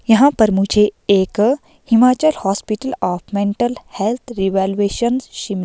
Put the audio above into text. यहां पर मुझे एक Himachal hospital of mental health revaluation शिम--